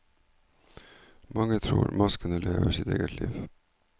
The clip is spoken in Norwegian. Mange tror maskene lever sitt eget liv.